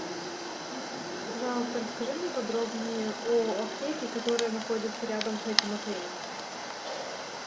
пожалуйста расскажи мне подробнее о аптеке которая находится рядом с этим отелем